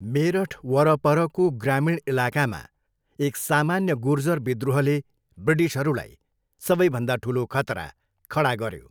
मेरठ वरपरको ग्रामीण इलाकामा, एक सामान्य गुर्जर विद्रोहले ब्रिटिसहरूलाई सबैभन्दा ठुलो खतरा खडा गऱ्यो।